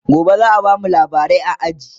gobe zaa bamu labarai a aji